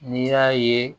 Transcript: N'i y'a ye